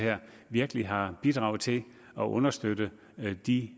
virkelig har bidraget til at understøtte de